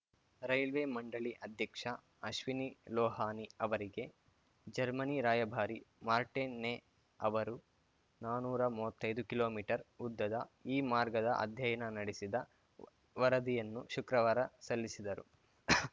railway ಮಂಡಳಿ ಅಧ್ಯಕ್ಷ ಅಶ್ವಿನಿ ಲೋಹಾನಿ ಅವರಿಗೆ ಜರ್ಮನಿ ರಾಯಭಾರಿ ಮಾರ್ಟಿನ್‌ ನೇ ಅವರು ನಾನುರಾ ಮೂವತ್ತೈದು ಕಿಲೋಮೀಟರ್ ಉದ್ದದ ಈ ಮಾರ್ಗದ ಅಧ್ಯಯನ ನಡೆಸಿದ ವರದಿಯನ್ನು ಶುಕ್ರವಾರ ಸಲ್ಲಿಸಿದರು